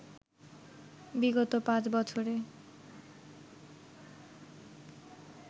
বিগত পাঁচ বছরে